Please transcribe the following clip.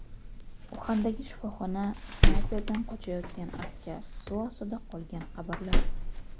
Uxandagi shifoxona, snayperdan qochayotgan askar, suv ostida qolgan qabrlar.